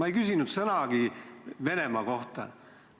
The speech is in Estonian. Ma ei küsinud sõnagi Venemaa kohta.